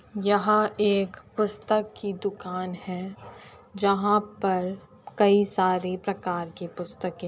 यहाँ एक पुस्तक की दुकान है जहाँ पर कई सारी प्रकार की पुस्तकें --